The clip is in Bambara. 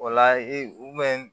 O la u